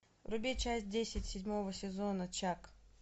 вруби часть десять седьмого сезона чак